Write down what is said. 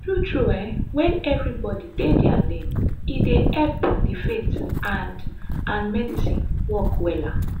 tru tru eh wen everybodi dey dia lane e dey epp di faith and and medicine work wella